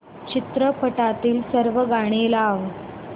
चित्रपटातील सर्व गाणी लाव